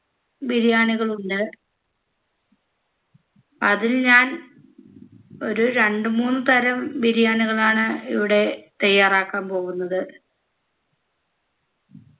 ബിരിയാണികളുണ്ട് അതിൽ ഞാൻ ഒരു രണ്ടു മൂന്ന് തരം ബിരിയാണികളാണ് ഇവിടെ തയ്യാറാക്കാൻ പോകുന്നത്